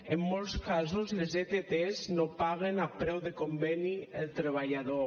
en molts casos les ett no paguen a preu de conveni al treballador